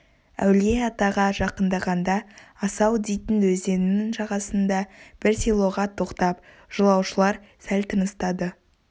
әулие-атаға жақындағанда асау дейтін өзеннің жағасындағы бір селоға тоқтап жолаушылар сәл тыныстады